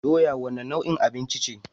Doya wane nau'in abinci ce?